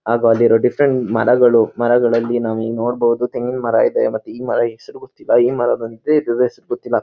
ಹಾಗು ಅಲ್ಲಿರುವ ಡಿಫರೆಂಟ್ ಮರಗಳು ಮರಗಳ್ಳಲಿ ನಾವು ನೋಡಬಹುದು ತೇಗಿನ ಮರ ಇದೆ ಮತ್ತೆ ಈ ಮರ ಹೆಸರು ಗೊತ್ತಿಲ್ಲ ಈ ಮರದ ಡೀಟೇಲ್ಸ್ ಗೊತ್ತಿಲ್ಲ